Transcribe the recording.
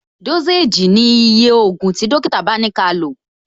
Dósèjì ni iye ògùn tí dókítà bá ni kálò